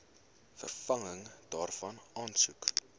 vervanging daarvan aansoek